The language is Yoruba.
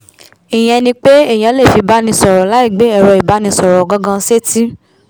ìyẹn ni pé èèyàn lè fi báni sọ̀rọ̀ láì gbé ẹ̀rọ ìbánisọ̀rọ̀ gan-gan sétí